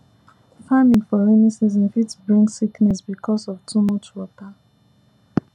farming for rainy season fit bring sickness because of too much water